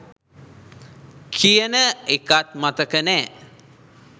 කියන එකත් මතක නෑ